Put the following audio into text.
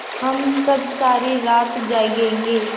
हम सब सारी रात जागेंगे